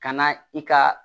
Ka na i ka